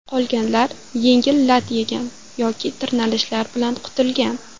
Qolganlar yengil lat yegan yoki tirnalishlar bilan qutulgan.